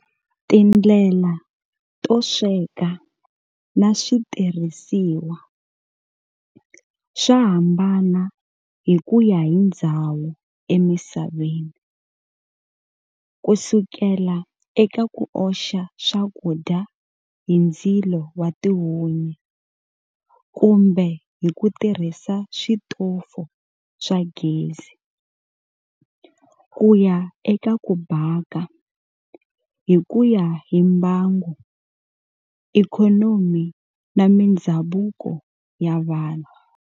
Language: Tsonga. Tindlela to sweka na switirhisiwa, swa hambana hi kuya hi ndzhawu emisaveni, kusukela eka ku oxa swakudya hi ndzilo wa tihunyi kumbe hi ku tirhisa switofo swa gezi, kuya eka ku baka, hi kuya hi mbangu, ikhonomi na mindzhavuko ya vanhu.